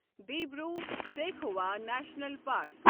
Dibru Saikhowa national park